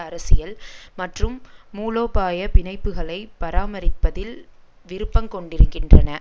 அரசியல் மற்றும் மூலோபாய பிணைப்புக்களை பராமரிப்பதில் விருப்பங் கொண்டிருக்கின்றன